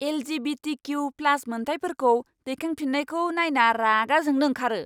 LGBTQ plus मोनथायफोरखौ दैखांफिन्नायखौ नायना रागा जोंनो ओंखारो!